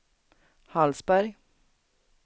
Hallsberg